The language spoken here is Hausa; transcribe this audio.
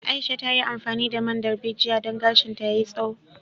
Aisha ta yi amfani da man darbejiya don gashinta yai tsaho